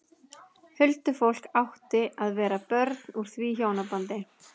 Huldufólk átti að vera börn úr því hjónabandi.